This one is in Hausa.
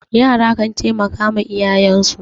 yara kan taimaka wa iyaye